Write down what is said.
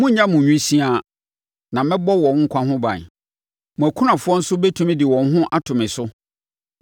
‘Monnya mo nwisiaa, na mɛbɔ wɔn nkwa ho ban. Mo akunafoɔ nso bɛtumi de wɔn ho ato me so.’ ”